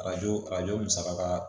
Arajo arajo musaka